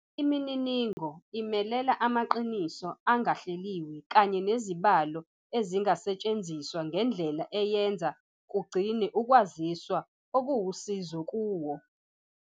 Imininingo imelela amaqiniso angahleliwe kanye nezibalo ezingasetshenziswa ngendlela eyenza kugcinwe ukwaziswa okuwusizo kuwo.